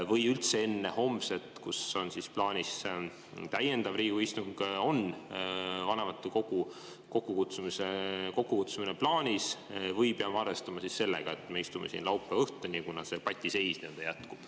Või kas üldse enne homset, kui on plaanis täiendav Riigikogu istung, on vanematekogu kokkukutsumine plaanis või peab arvestama sellega, et me istume siin laupäeva õhtuni, kuna see patiseis jätkub?